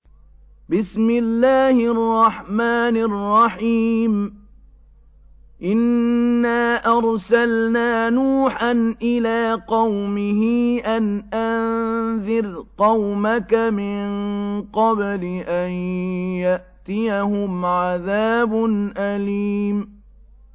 إِنَّا أَرْسَلْنَا نُوحًا إِلَىٰ قَوْمِهِ أَنْ أَنذِرْ قَوْمَكَ مِن قَبْلِ أَن يَأْتِيَهُمْ عَذَابٌ أَلِيمٌ